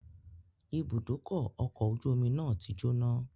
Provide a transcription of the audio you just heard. Ibùdókọ̀ ọkọ̀ ojú omi náà ti jóná